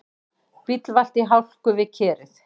Bíll valt í hálku við Kerið